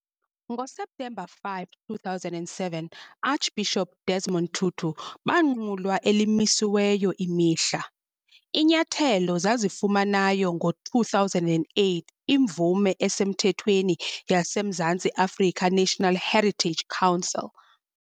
NgoSeptemba 5, 2007, Archbishop Desmond Tutu banqulwa elimisiweyo imihla. inyathelo zazifumanayo ngo-2008 imvume esemthethweni yaseMzantsi Afrika National Heritage Council.